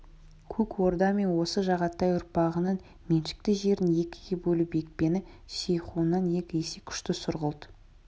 көк орда мен осы жағатай ұрпағының меншікті жерін екіге бөліп екпіні сейхуннан екі есе күшті сұрғылт